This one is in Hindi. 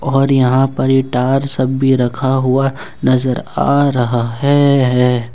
और यहां पर ये टार सब भी रखा हुआ नजर आ रहा है है ।